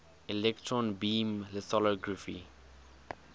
electron beam lithography